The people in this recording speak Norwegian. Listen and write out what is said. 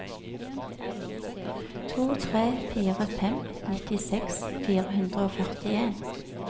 to tre fire fem nittiseks fire hundre og førtien